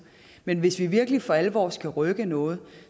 men hvis vi virkelig for alvor skal rykke noget